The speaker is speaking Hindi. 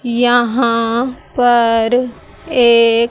यहाँ पर एक--